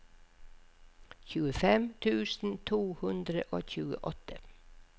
tjuefem tusen to hundre og tjueåtte